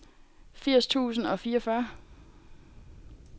firs tusind og fireogfyrre